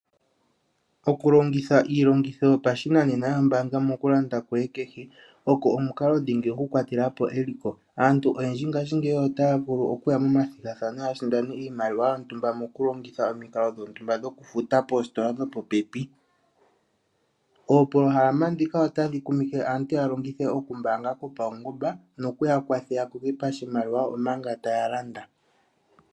Okulongitha iilongitho yopashinanena yombaanga mokulanda kwoye kehe oko omukalodhingi okukwatela po eliko. Aantu oyendji ngashingeyi otaya vulu okuya momathigathano ya sindane iimaliwa yontumba mokulongitha omikalo dhontumba dhokufuta poositola dhili popepi. Oopolohalama ndhika otadhi kumike aantu ya longithe okumbaanga kopaungomba noku ya kwathe ya koke pashimaliwa omanga taya landa.